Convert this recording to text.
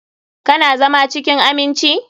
Ka na zama cikin aminci?